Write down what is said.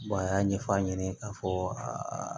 a y'a ɲɛfɔ a ɲɛna k'a fɔ aa